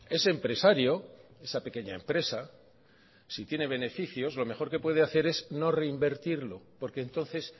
ese empresario esa pequeña empresa si tiene beneficios lo mejor que puede hacer es no reinvertirlo porque entonces